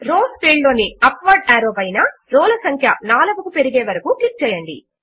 rows field లోని upward arrow పైన row ల సంఖ్య 4 కు పెరిగే వరకు క్లిక్ చేయండి